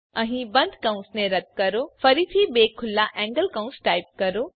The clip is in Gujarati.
અહીં બંધ કૌંસને રદ્દ કરો ફરીથી બે ખુલ્લા એન્ગલ કૌંસ ટાઈપ કરો